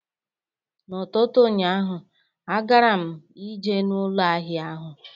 N'ụtụtụ ụnyaahụ, agara m ije n'ụlọ ahịa ahụ